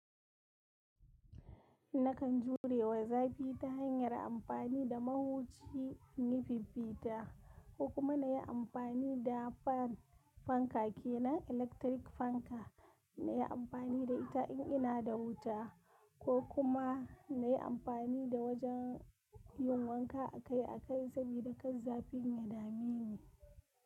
Nakan jurewa zafi ta hanyar amfani da mahuchi inyi fiffita, ko kuma na yi amfani da fan fanka kenan (electric) fanka, na yi amfani da ita in ina da wuta, ko kuma na yi amfani da wajen yin wanka akai-akai sabida kar zafin ya dame ni.